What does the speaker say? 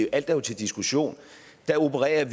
er jo til diskussion opererer